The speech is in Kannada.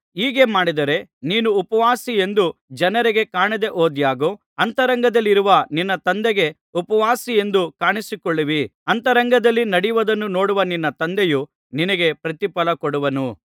ಹೀಗೆ ಮಾಡಿದರೆ ನೀನು ಉಪವಾಸಿಯೆಂದು ಜನರಿಗೆ ಕಾಣದೆ ಹೋದಾಗ್ಯೂ ಅಂತರಂಗದಲ್ಲಿರುವ ನಿನ್ನ ತಂದೆಗೆ ಉಪವಾಸಿಯೆಂದು ಕಾಣಿಸಿಕೊಳ್ಳುವಿ ಅಂತರಂಗದಲ್ಲಿ ನಡೆಯುವುದನ್ನು ನೋಡುವ ನಿನ್ನ ತಂದೆಯು ನಿನಗೆ ಪ್ರತಿಫಲಕೊಡುವನು